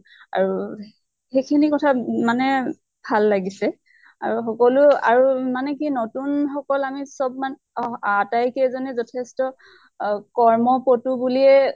আৰু সেই খিনি কথা মানে ভাল লাগিছে। আৰু সকলো আৰু মানে কি নতুন সকল আমি চব মান আতাই কেইজনে যথেষ্ট কৰ্ম পটু বুলিয়ে